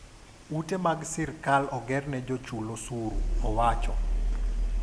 "Ute mag sirkal ogerne jo chul osuru." owacho.